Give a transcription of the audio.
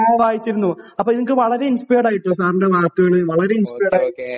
ആഹ് വായിച്ചിരുന്നു അപ്പൊ എനിക്ക് വളരെ ഇൻസ്പയേഡ് ആയിരുന്നു .സാറിന്റെ വാക്കുകൾ